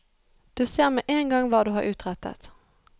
Du ser med en gang hva du har utrettet.